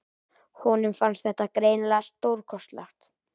Honum fannst þetta greinilega stórkostlegt.